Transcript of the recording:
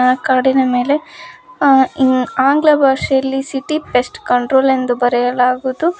ಅ ಕಾಡಿನ ಮೇಲೆ ಅ ಆಂಗ್ಲ ಭಾಷೆಲಿ ಸಿಟಿ ಪೇಸ್ಟ್ ಕಂಟ್ರೋಲ್ ಎಂದು ಬರೆಯಲಾಗುದು.